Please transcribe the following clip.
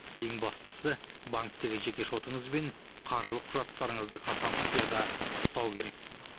ең бастысы банктегі жеке шотыңыз бен қаржылық құжаттарыңызды қатаң құпияда ұстау керек